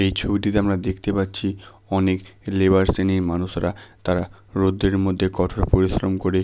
এই ছবিটিতে আমরা দেখতে পাচ্ছি অনেক লেবার শ্রেণীর মানুষরা তারা রোদ্রের মধ্যে কঠোর পরিশ্রম করে--